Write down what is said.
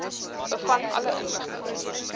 bevat alle inligting